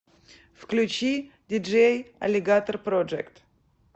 включи диджей алигатор проджект